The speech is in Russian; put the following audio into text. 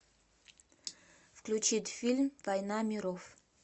включить фильм война миров